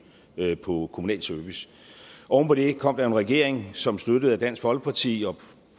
på kommunal service oven på det kom der en regering som støttet af dansk folkeparti og